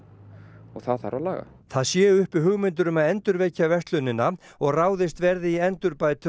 og það þarf að laga það séu uppi hugmyndir um að endurvekja verslunina og ráðist verði í endurbætur